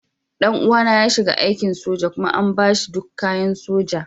Ɗan uwana ya shiga aikin soja kuma an ba shi duk kayan soja.